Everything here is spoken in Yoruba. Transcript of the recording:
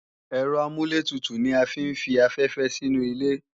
Ẹ̀rọ amúlẹ̀tutù ni a fi ń fi afẹ́fẹ́ sí inu ilé